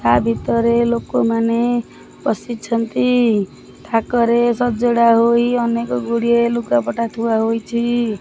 ଆ ଭିତରେ ଲୋକମାନେ ବସିଛନ୍ତି ଥାକରେ ସଜଡ଼ା ହୋଇ ଅନେକ ଗୁଡିଏ ଲୁଗାପଟା ଥୁଆ ହୋଇଛି।